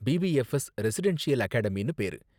PPFS residential அகாடமினு பேரு.